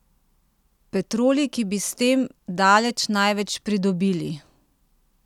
Petroli, ki bi s tem daleč največ pridobili?